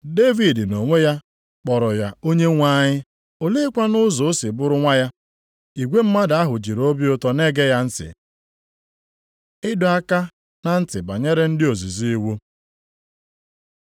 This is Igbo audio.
Devid nʼonwe ya kpọrọ ya Onyenwe anyị. Oleekwanụ ụzọ o si bụrụ nwa ya?” Igwe mmadụ ahụ jiri obi ụtọ na-ege ya ntị. Ịdọ aka na ntị banyere ndị ozizi iwu